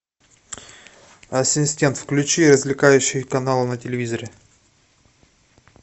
ассистент включи развлекающий канал на телевизоре